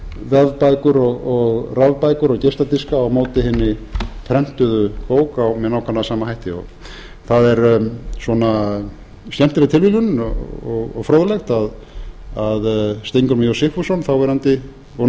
vefbækur og rafbækur og geisladiska á móti i hinni prentuðu bók með nákvæmlega sama hætti það er skemmtileg tilviljun og fróðlegt að steingrímur j sigfússon þáv og